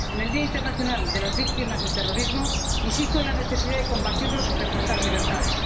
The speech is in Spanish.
En el Día Europeo de las Víctimas del Terrorismo, insisto en la necesidad de combatirlo sin recortar libertades.